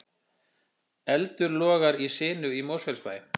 Eldur logar í sinu í Mosfellsbæ